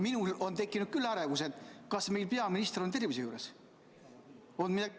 Praegu olen ma juba ärevaks muutunud, et kas meie peaminister ikka on tervise juures või on midagi ...